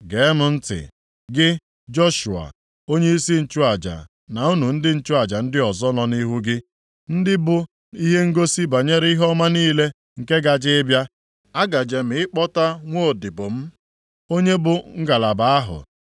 “ ‘Gee m ntị, gị Joshua, onyeisi nchụaja na unu ndị nchụaja ndị ọzọ nọ nʼihu gị, ndị bụ ihe ngosi banyere ihe ọma niile nke gaje ịbịa. Agaje m ịkpọta nwaodibo m, onye bụ Ngalaba ahụ.